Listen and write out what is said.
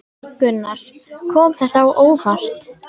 Gunnar: Kom þetta á óvart?